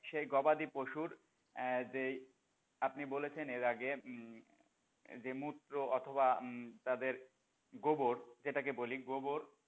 সেই গবাদি পশুর আহ যেই আপনি বলেছেন এর আগে হম যেই মূত্র অথবা তাদের গোবর যেটাকে বলি গোবর,